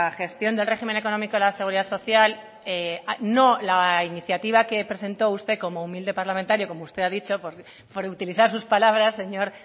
gestión del régimen económico de la seguridad social no la iniciativa que presentó usted como humilde parlamentario como usted ha dicho por utilizar sus palabras señor